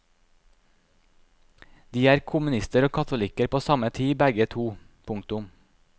De er kommunister og katolikker på samme tid begge to. punktum